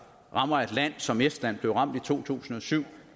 rammer et land som estland blev ramt i to tusind og syv